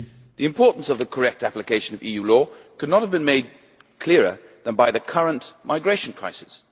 The importance of the correct application of EU law cannot have been made clearer than by the current migration crisis.